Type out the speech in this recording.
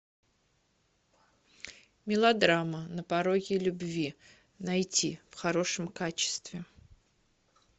мелодрама на пороге любви найти в хорошем качестве